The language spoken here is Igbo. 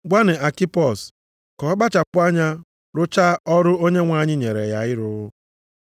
Gwanụ Akipos ka ọ kpachapụ anya rụchaa ọrụ Onyenwe anyị nyere ya ịrụ.